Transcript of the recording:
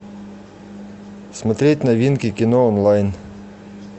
смотреть новинки кино онлайн